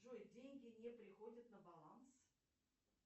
джой деньги не приходят на баланс